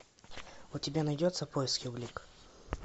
у тебя найдется поиски улик